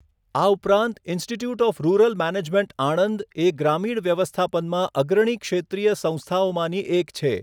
આ ઉપરાંત Institute of Rural Management Anand એ ગ્રામીણ વ્યવસ્થાપનમાં અગ્રણી ક્ષેત્રિય સંસ્થાઓમાંની એક છે.